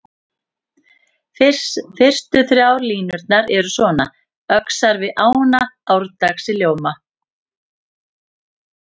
Fyrstu þrjár línurnar eru svona: Öxar við ána árdags í ljóma